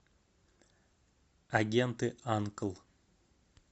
агенты анкл